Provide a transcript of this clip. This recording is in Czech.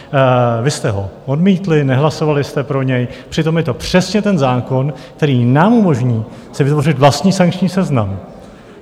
Vy jste ho odmítli, nehlasovali jste pro něj, přitom je to přesně ten zákon, který nám umožní si vytvořit vlastní sankční seznam.